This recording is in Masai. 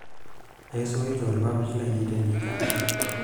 Aisurito ilpapit lainei tenkichana.